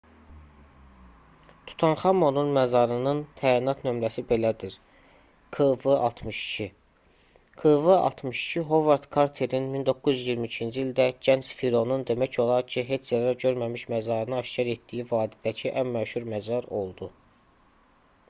tutanxamonun məzarının təyinat nömrəsi belədir: kv62. kv62 hovard karterin 1922-ci ildə gənc fironun demək olar ki heç zərər görməmiş məzarını aşkar etdiyi vadidəki ən məşhur məzar oldu